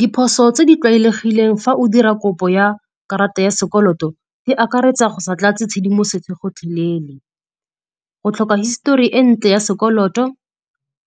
Diphoso tse di tlwaelegileng fa o dira kopo ya karata ya sekoloto di akaretsa go sa tlatse tshedimosetso gotlhelele, go tlhoka histori e ntle ya sekoloto